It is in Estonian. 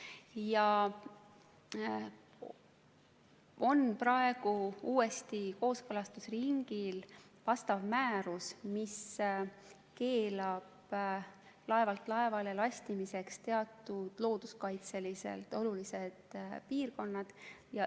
Ja praegu on uuesti kooskõlastusringil määrus, mis keelab laevalt laevale lastimise teatud looduskaitseliselt olulistes piirkondades.